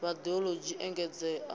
na vhad ologi u engedzea